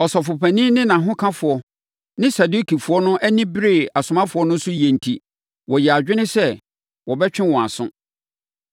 Ɔsɔfopanin ne nʼahokafoɔ ne Sadukifoɔ no ani beree asomafoɔ no so yie enti wɔyɛɛ adwene sɛ wɔbɛtwe wɔn aso.